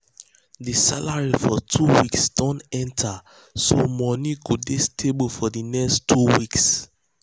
the salary for two weeks don enter so money go dey stable for di next two weeks.